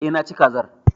Eh, Naci kazar